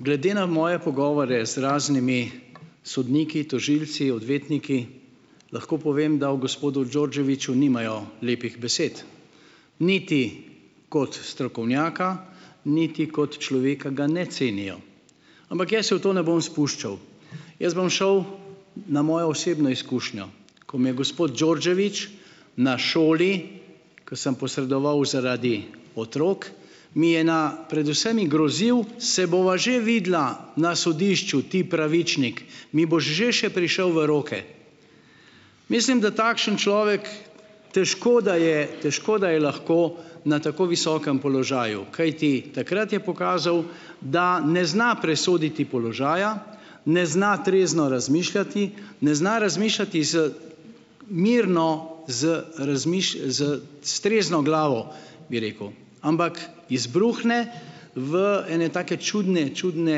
Glede na moje pogovore z raznimi sodniki, tožilci, odvetniki, lahko povem, da o gospodu Đorđeviću nimajo lepih besed. Niti kot strokovnjaka niti kot človeka ga ne cenijo. Ampak jaz se v to ne bom spuščal. Jaz bom šel na mojo osebno izkušnjo, ko me je gospod Đorđević na šoli, ko sem posredoval zaradi otrok, mi je na pred vsemi grozil: "Se bova že videla na sodišču, ti pravičnik, mi boš že še prišel v roke." Mislim, da takšen človek težko da je, težko da je lahko na tako visokem položaju, kajti takrat je pokazal, da ne zna presoditi položaja, ne zna trezno razmišljati, ne zna razmišljati z mirno, z z s trezno glavo, bi rekel, ampak izbruhne v ene take čudne, čudne,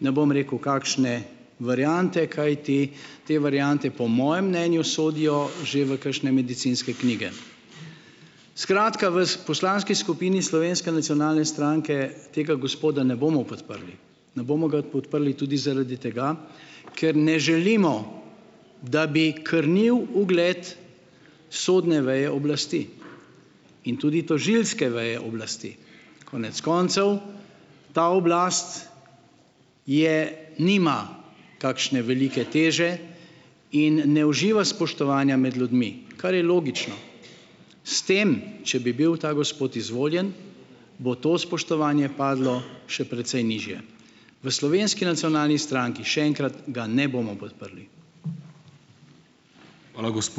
ne bom rekel, kakšne variante, kajti te variante po mojem mnenju sodijo že v kakšne medicinske knjige. Skratka, v poslanski skupini Slovenske nacionalne stranke tega gospoda ne bomo podprli. Ne bomo ga podprli tudi zaradi tega, ker ne želimo, da bi krnil ugled sodne veje oblasti. In tudi tožilske veje oblasti. Konec koncev ta oblast je nima takšne velike teže in ne uživa spoštovanja med ljudmi, kar je logično. S tem, če bi bil ta gospod izvoljen, bo to spoštovanje padlo še precej nižje. V Slovenski nacionalni stranki, še enkrat, ga ne bomo podprli. Hvala, ...